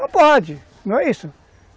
Não pode, não é isso?